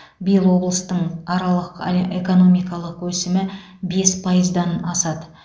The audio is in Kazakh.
биыл облыстың аралық эле экономикалық өсімі бес пайыздан асады